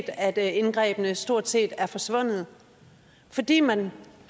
at indgrebene stort set er forsvundet fordi man